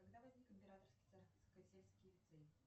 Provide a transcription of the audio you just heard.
когда возник императорский царскосельский лицей